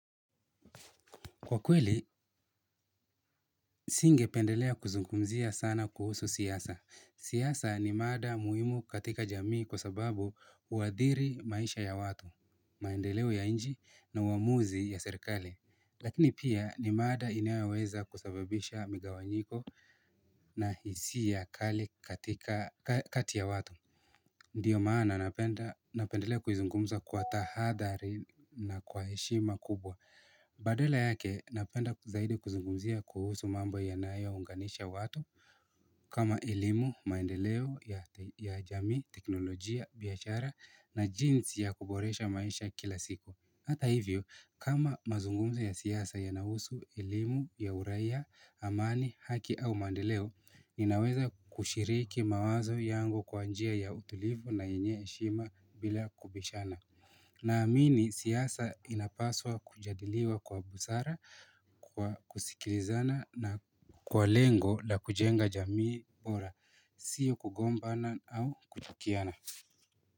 Kwa kweli, singependelea kuzungumzia sana kuhusu siasa. Siasa ni mada muhimu katika jamii kwa sababu huathiri maisha ya watu, maendeleo ya nchi na uamuzi ya serikali. Lakini pia ni mada inayoweza kusababisha migawanyiko na hisia kali katika kati ya watu. Ndiyo maana napenda napendelea kuizungumza kwa tahadhari na kwa heshima kubwa. Kuhusu mambo yanayo unganisha watu, kama elimu, maendeleo ya jami, teknolojia, biashara na jinsi ya kuboresha maisha kila siku. Hata hivyo, kama mazungumzo ya siasa yanahusu, elimu, ya uraia, amani, haki au maendeleo, ninaweza kushiriki mawazo yangu kwa njia ya utulivu na yenye heshima bila kubishana. Naamini siasa inapaswa kujadiliwa kwa busara, kwa kusikilizana na kwa lengo la kujenga jamii bora, siyo kugombana au kuchukiana.